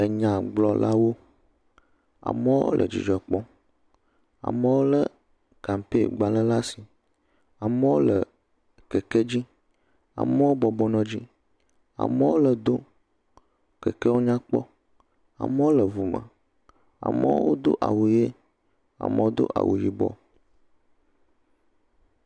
Enyagblɔlawo, amewo le dzidzɔ kpɔ, amewo lé kampee gbalẽ la si, amewo le keke dzi, amewo bɔbɔnɔ dzi, amewo le do, kekeawo nyakpɔ, amewo le ŋu me, amewo do awu ʋie, amewo do awu yibɔ.